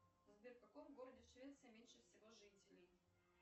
сбер в каком городе швеции меньше всего жителей